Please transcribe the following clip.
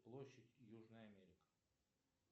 площадь южная америка